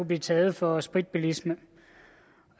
blive taget for spritbilisme